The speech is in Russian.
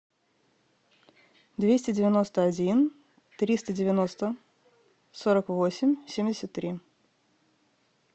двести девяносто один триста девяносто сорок восемь семьдесят три